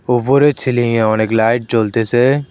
ওপরে ছিলিংয়ে অনেক লাইট জ্বলতেছে।